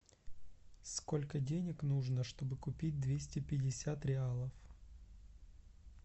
сколько денег нужно чтобы купить двести пятьдесят реалов